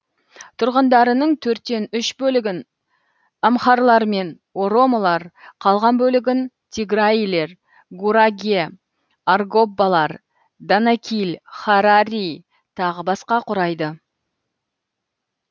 тұрғындарының төрттен үш бөлігін амхарлар мен оромолар қалған бөлігін тиграилер гураге аргоббалар данакиль харари тағы басқа құрайды